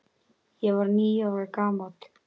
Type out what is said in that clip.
Ég var níu ára gamall.